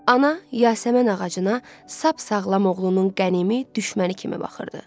Ana yasəmən ağacına sap-sağlam oğlunun qənimi, düşməni kimi baxırdı.